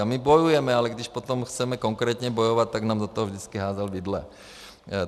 A my bojujeme, ale když potom chceme konkrétně bojovat, tak nám do toho vždycky házel vidle.